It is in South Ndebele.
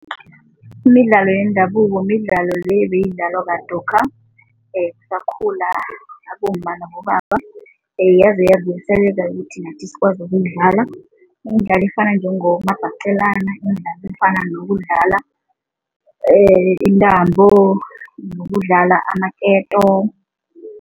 Imidlalo yendabuko midlalo le beyidlalelwa kadokha kusakhula abomma nabobaba, yaze yadluliselelwa ukuthi nathi sikwazi ukuyidlalo. Imidlalo efana njengomabhaqelana, efana nokudlala intambo nokudlala amaketo.